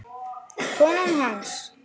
Konan hans?